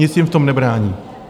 Nic jim v tom nebrání.